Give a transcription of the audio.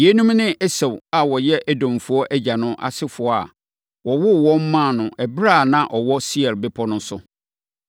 Yeinom ne Esau a ɔyɛ Edomfoɔ agya no asefoɔ a wɔwoo wɔn maa no ɛberɛ a na ɔwɔ Seir bepɔ so no.